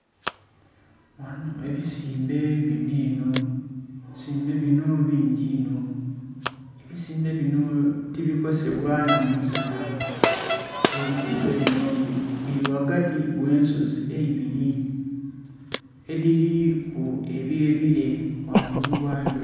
Ebizimbe binho enho , ebizimbe binho bungi ebizimbe binho tibikosebwa nha musanha era ebizimbe binho bili ghagati ghe ensozi eibiri edhiliku ebye bilee ghangulu ghadho.